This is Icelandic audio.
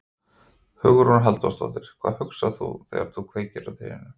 Hugrún Halldórsdóttir: Hvað hugsaðir þú þegar þú kveiktir á trénu?